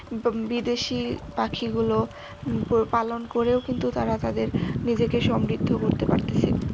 বিদেশি পাখিগুলো পালন করেও কিন্তু তারা তাদের নিজেকে সমৃদ্ধ করতে পারতেসে।